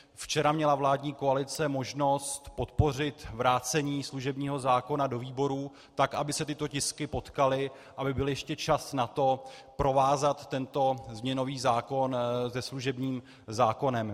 Včera měla vládní koalice možnost podpořit vrácení služebního zákona do výborů, tak aby se tyto tisky potkaly, aby byl ještě čas na to, provázat tento změnový zákon se služebním zákonem.